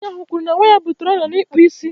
Nwaanyị ahu kwuru na nwa ya butere ọrịa n'ikpụ isi